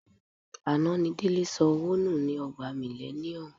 Àná ni Délé sọ owó nù ni Ọgbà Millennium.